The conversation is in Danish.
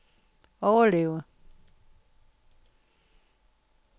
overleve